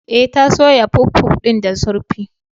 E, ta soya puffpuff din da zurfi?